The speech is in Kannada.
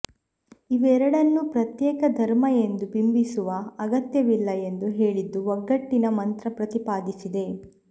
ಇವೆರಡನ್ನೂ ಪ್ರತ್ಯೇಕ ಧರ್ಮ ಎಂದು ಬಿಂಬಿಸುವ ಅಗತ್ಯವಿಲ್ಲ ಎಂದು ಹೇಳಿದ್ದು ಒಗ್ಗಟ್ಟಿನ ಮಂತ್ರ ಪ್ರತಿಪಾದಿಸಿದೆ